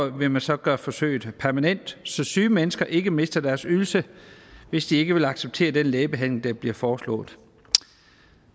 vil man så gøre forsøget permanent så syge mennesker ikke mister deres ydelse hvis de ikke vil acceptere den lægebehandling der bliver foreslået